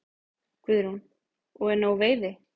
Guðrún: Og er nóg veiði?